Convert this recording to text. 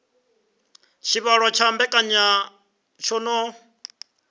tshivhalo tsha mbekanya tsho no